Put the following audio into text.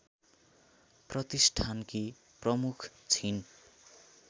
प्रतिष्ठानकी प्रमुख छिन्